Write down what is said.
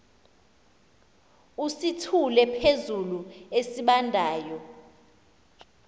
usithule phezulu esibandayo